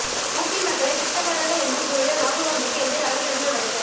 உபி மக்களை பிச்சைக்காரர்கள் என்று கூறிய ராகுல்காந்திக்கு எதிராக கிரிமினல் வழக்கு